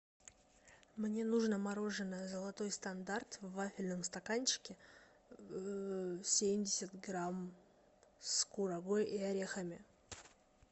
мне нужно мороженое золотой стандарт в вафельном стаканчике семьдесят грамм с курагой и орехами